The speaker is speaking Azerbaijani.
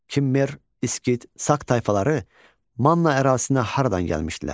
Kimmer, İskit, Sak tayfaları Manna ərazisinə haradan gəlmişdilər?